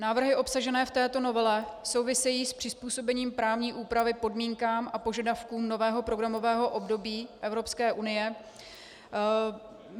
Návrhy obsažené v této novele souvisejí s přizpůsobením právní úpravy podmínkám a požadavkům nového programového období Evropské unie.